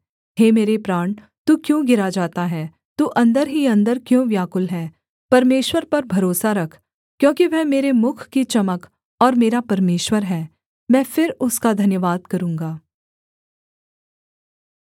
हे मेरे प्राण तू क्यों गिरा जाता है तू अन्दर ही अन्दर क्यों व्याकुल है परमेश्वर पर भरोसा रख क्योंकि वह मेरे मुख की चमक और मेरा परमेश्वर है मैं फिर उसका धन्यवाद करूँगा